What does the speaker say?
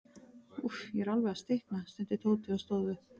Úff, ég er alveg að stikna stundi Tóti og stóð upp.